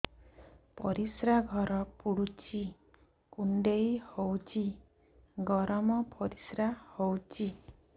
ପରିସ୍ରା ଘର ପୁଡୁଚି କୁଣ୍ଡେଇ ହଉଚି ଗରମ ପରିସ୍ରା ହଉଚି